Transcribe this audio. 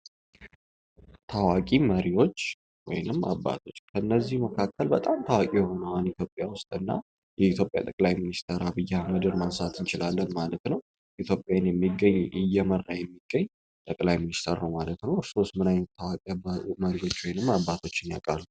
ታዋቂ መሪዎች ወይንም አባቶች እነዚህ መካከል በጣም ታዋቂ የሆነው ኢትዮጵያ ውስጥ የኢትዮጵያ ጠቅላይ ሚኒስትር አብይ ማንሳት እንችላለን ማለት ነው። ኢትዮጵያ እየመራ የሚገኙ ጠቅላይ ሚኒስት ነው። እርሶስ ምን አይነት መሪ ያቃሉ?